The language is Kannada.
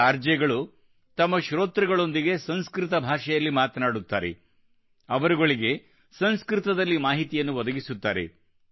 ಈ ಆರ್ ಜೆ ಗಳು ತಮ್ಮ ಶ್ರೋತೃಗಳೊಂದಿಗೆ ಸಂಸ್ಕೃತ ಭಾಷೆಯಲ್ಲಿ ಮಾತನಾಡುತ್ತಾರೆ ಅವರುಗಳಿಗೆ ಸಂಸ್ಕೃತದಲ್ಲಿ ಮಾಹಿತಿಯನ್ನು ಒದಗಿಸುತ್ತಾರೆ